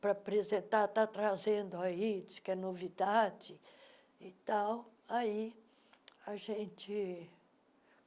para apresentar, está trazendo aí, diz que é novidade. e tal aí a gente